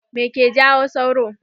Me ke jawo sauro.